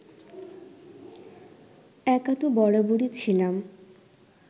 একা তো বরাবরই ছিলাম